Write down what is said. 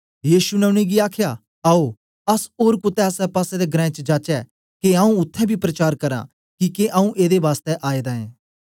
यीशु ने उनेंगी आखया आओ अस ओर कुतै आसेपासे दे ग्रांऐं च जाचै के आऊँ उत्थें बी प्रचार करां किके आऊँ एदे बासतै आएदा ऐं